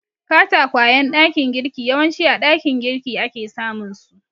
Katakwayen ɗakin girki yawanci a ɗakin girki ake samunsu.